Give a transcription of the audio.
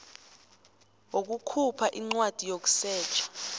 wokukhupha incwadi yokusetjha